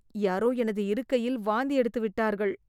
யாரோ எனது இருக்கையில் வாந்தி எடுத்துவிட்டார்கள்